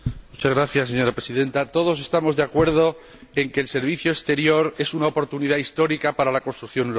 Señora Presidenta, todos estamos de acuerdo en que el Servicio Exterior es una oportunidad histórica para la construcción europea.